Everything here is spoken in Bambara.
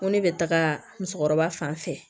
Ko ne bɛ taga musokɔrɔba fan fɛ